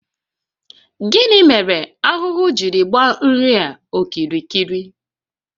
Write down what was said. Gịnị mere ahụhụ jiri gbaa nri a okirikiri?